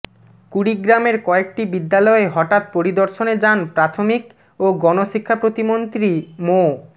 কুড়িগ্রামের কয়েকটি বিদ্যালয়ে হঠাৎ পরিদর্শনে যান প্রাথমিক ও গণশিক্ষা প্রতিমন্ত্রী মো